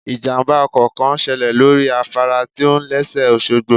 Ìjàmbá ọkọ̀ kan ṣẹlẹ̀ lórí afárá tí ò lẹ́sẹ̀ òṣogbo